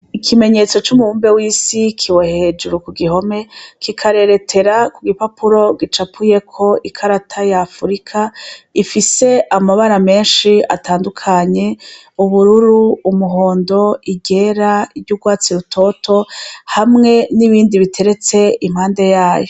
Ikimenyetso c'umubumbe w'isi kiwe hejuru ku gihome kikareretera ku gipapuro gicapuyeko ikarata yafurika ifise amabara menshi atandukanye ubururu umuhondo igera iry'urwatsi rutoto hamwe n'ibindi biteretse impande yayo.